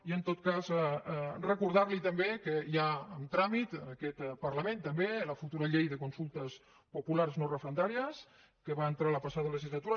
i en tot cas recordar li també que hi ha en tràmit en aquest parlament també la futura llei de consultes populars no referendàries que va entrar la passada legislatura